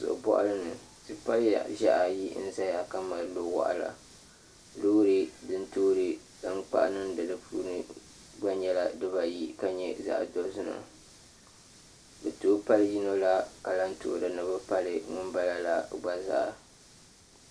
Ziɣi boɣali ni tipa ʒiɛhi ayi n ʒɛya ka mali nu waɣala loori din toori tankpaɣu niŋdi di puuni gba nyɛla dibayi ka nyɛ zaɣ dozima bi tooi pali yino la ka lahi toori ni bi pali ŋunbala la gba zaa